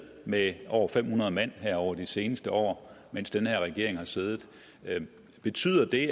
med over fem hundrede mand over de seneste år mens den her regering har siddet betyder det